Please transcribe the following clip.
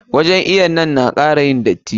Wajen iwon nan na kara yin datti.